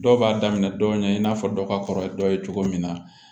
Dɔw b'a daminɛ dɔ ɲɛ in n'a fɔ dɔ ka kɔrɔ ye dɔ ye cogo min na